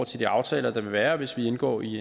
til de aftaler der vil være hvis vi indgår i